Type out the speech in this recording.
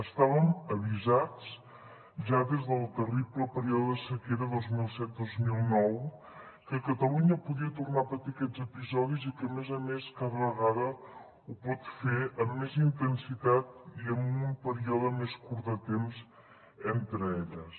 estàvem avisats ja des del terrible període de sequera dos mil set dos mil nou que catalunya podia tornar a patir aquests episodis i que a més a més cada vegada ho pot fer amb més intensitat i amb un període més curt de temps entre elles